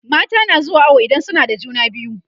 mata na zuwa awo idan suna da juna biyu